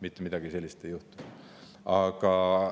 Mitte midagi sellist ei juhtu.